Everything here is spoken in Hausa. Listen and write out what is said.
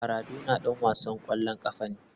Maradona ɗan wasan ƙwallon ƙafa ne.